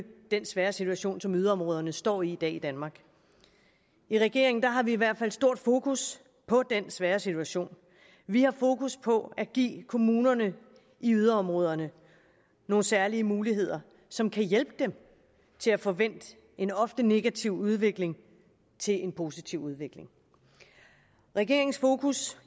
den svære situation som yderområderne står i i dag i danmark i regeringen har vi i hvert fald stort fokus på den svære situation vi har fokus på at give kommunerne i yderområderne nogle særlige muligheder som kan hjælpe dem til at få vendt en ofte negativ udvikling til en positiv udvikling regeringens fokus